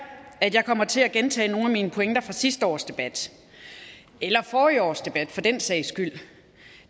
at jeg kommer til at gentage nogle af mine pointer fra sidste års debat eller forrige års debat for den sags skyld